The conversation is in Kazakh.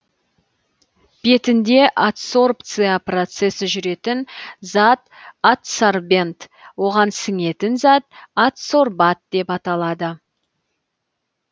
бетінде адсорбция процесі жүретін зат адсорбент оған сіңетін зат адсорбат деп аталады